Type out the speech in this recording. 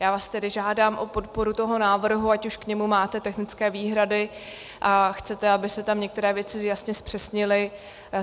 Já vás tedy žádám o podporu toho návrhu, ať už k němu máte technické výhrady a chcete, aby se tam některé věci jasně zpřesnily.